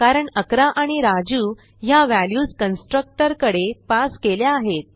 कारण 11 आणि राजू ह्या व्हॅल्यूज कन्स्ट्रक्टर कडे पास केल्या आहेत